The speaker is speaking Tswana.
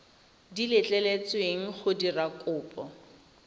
di letleletsweng go dira kopo